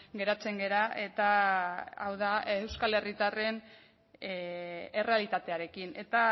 geratzen gara eta hau da euskal herritarren errealitatearekin eta